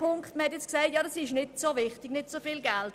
Es wurde gesagt, es gehe nicht um viel Geld.